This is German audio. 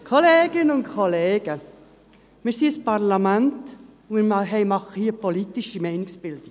Wir sind ein Parlament, und wir machen hier politische Meinungsbildung.